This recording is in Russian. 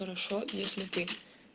хорошо если ты